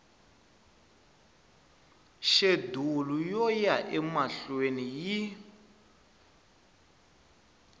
xedulu yo ya emahlweni yi